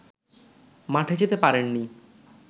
মাঠে যেতে পারেননি